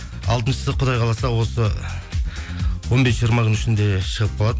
алтыншысысы құдай қаласа осы он бес жиырма күннің ішінде шығып қалады